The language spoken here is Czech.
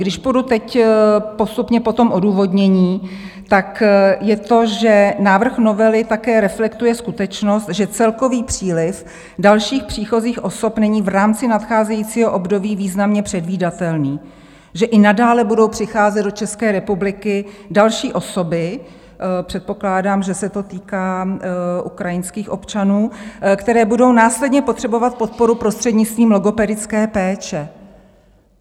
Když půjdu teď postupně po tom odůvodnění, tak je to, že návrh novely také reflektuje skutečnost, že celkový příliv dalších příchozích osob není v rámci nadcházejícího období významně předvídatelný, že i nadále budou přicházet do České republiky další osoby, předpokládám, že se to týká ukrajinských občanů, které budou následně potřebovat podporu prostřednictvím logopedické péče.